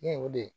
Ne ye o de ye